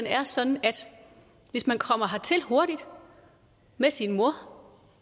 er sådan at hvis man kommer hertil hurtigt med sin mor